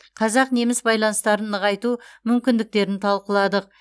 қазақ неміс байланыстарын нығайту мүмкіндіктерін талқыладық